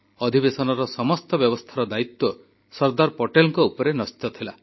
ଅଧିବେଶନର ସମସ୍ତ ବ୍ୟବସ୍ଥାର ଦାୟିତ୍ୱ ସର୍ଦ୍ଦାର ପଟେଲଙ୍କ ଉପରେ ନ୍ୟସ୍ତ ଥିଲା